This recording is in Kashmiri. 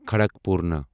کھڑکپورنا